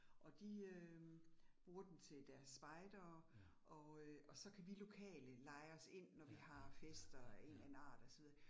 Og de øh bruger den til deres spejdere, og øh og så kan vi lokale leje os ind, når vi har fester af en eller anden art og så videre